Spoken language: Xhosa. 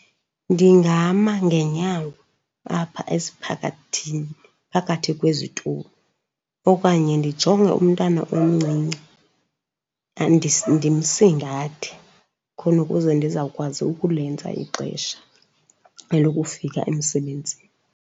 Ndingama ngenyawo apha esiphakathini phakathi kwezitulo okanye ndijonge umntana omncinci ndimsingathe, khona ukuze ndizawukwazi ukulenza ixesha elokufika emsebenzini.